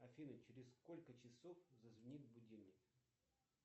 афина через сколько часов зазвенит будильник